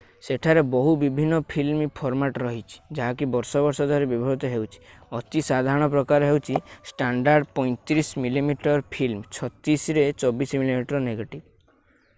ସେଠାରେ ବହୁ ବିଭିନ୍ନ ଫିଲ୍ମ ଫର୍ମାଟ୍ ରହିଛି ଯାହାକି ବର୍ଷ ବର୍ଷ ଧରି ବ୍ୟବହୃତ ହେଉଛି। ଅତି ସାଧାରଣ ପ୍ରକାର ହେଉଛି ଷ୍ଟାଣ୍ଡାର୍ଡ 35 ମିଲିମିଟର ଫିଲ୍ମ 36 ରେ 24 ମିମି ନେଗେଟିଭ୍ ।